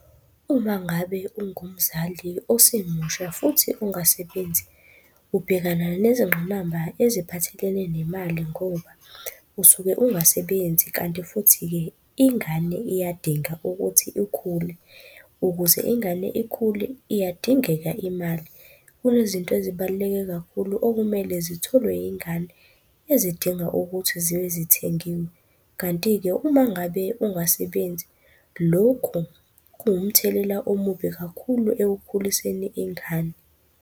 Uma ngabe ungumzali osemusha futhi ungasebenzi, ubhekana nezingqinamba eziphathelene nemali ngoba usuke ungasebenzi kanti futhi-ke ingane iyadinga ukuthi ikhule, ukuze ingane ikhule iyadingeka imali. Kunezinto ezibaluleke kakhulu okumele zitholwe yingane ezidinga ukuthi zibe zithengiwe. Kanti-ke uma ngabe ungasebenzi, lokhu kuwumthelela omubi kakhulu ekukhuliseni ingane.